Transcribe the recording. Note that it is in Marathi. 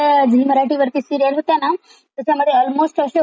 ते अल्मोस्ट अशे होते प्रत्येक यांच्यामध्ये दोन दोन लग्न होतात.